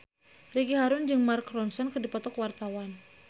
Ricky Harun jeung Mark Ronson keur dipoto ku wartawan